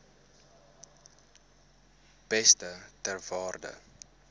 beeste ter waarde